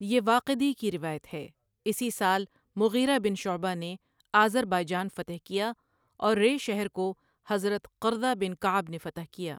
یہ واقدی کی روایت ہے، اِسی سال مغیرہ بن شعبہ نے آذربائیجان فتح کیا اور رَے شہر کو حضرت قرظہ بن کعب نے فتح کیا۔